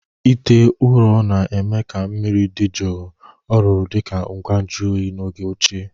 ite ụrọ na-eme ka mmiri dị jụụ. ọ rụrụ dị ka ngwa nju oyi n'oge ochie.